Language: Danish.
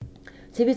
TV 2